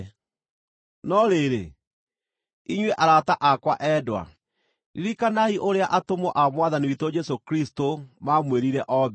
No rĩrĩ, inyuĩ arata akwa endwa, ririkanai ũrĩa atũmwo a Mwathani witũ Jesũ Kristũ maamwĩrire o mbere.